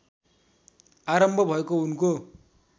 आरम्भ भएको उनको